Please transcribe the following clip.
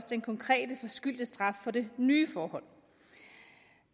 den konkrete forskyldte straf for det nye forhold